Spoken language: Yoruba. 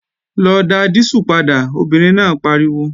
Lọ dá dísù padà, obìnrin náà pariwo!